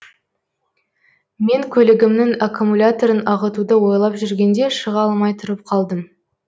мен көлігімнің аккумуляторын ағытуды ойлап жүргенде шыға алмай тұрып қалдым